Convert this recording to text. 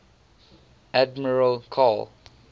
admiral karl